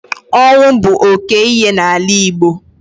Ọnwụ bụ oke ihe n'ala Igbo.